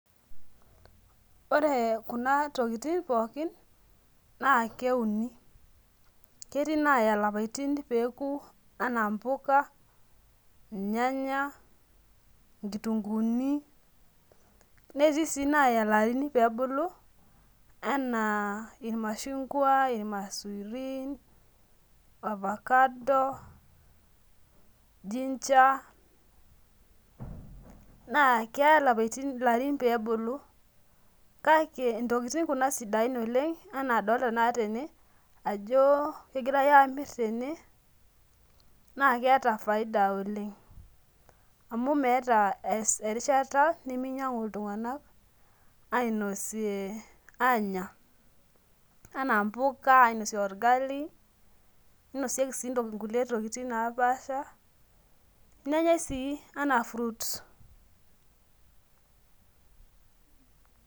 Ore kuna tokitin pookin na keuni ketii naya lapaitin peuni anaa mpuka nyanya nkitunguni netii si naya ilarin pebulu ana irmashungwa, irmaisurin ,ovacado, ginger na keya larin pebuku kake ntokitin kuna sidain oleng ana adolta na tene ajo kegirai amir tene na keeta faida oleng amu meeta erishata niminyangu ltunganak anya ana mpuka ainosie orgalie ninosieki si nkulie tokitin napaasha nenyae si anaa fruits.